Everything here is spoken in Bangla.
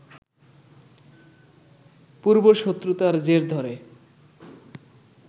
পূর্বশত্রুতার জের ধরে